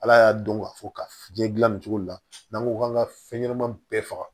Ala y'a dɔn k'a fɔ ka fiɲɛ gilan nin cogo la n'an ko k'an ka fɛn ɲɛnama bɛɛ faga